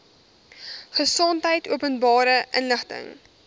gesondheid openbare inligting